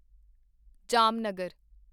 Jamnagar